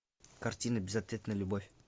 картина безответная любовь